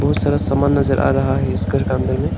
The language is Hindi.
बहुत सारा सामान नजर आ रहा है इस घर के अंदर में।